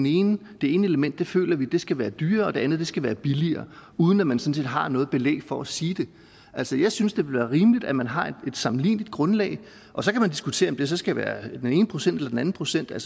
ene element føler vi skal være dyrere og det andet skal være billigere uden at man sådan set har noget belæg for at sige det altså jeg synes det vil være rimeligt at man har et sammenligneligt grundlag og så kan man diskutere om det så skal være den ene procent eller den anden procent det